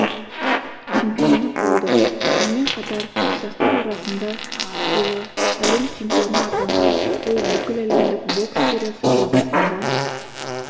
чемпионы болды сонымен қатар жастар арасында жылы әлем чемпионы атанған ол бүкіләлемдік бокс сериясы жобасында